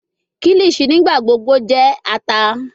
Kilichi nigbagbogbo jẹ ata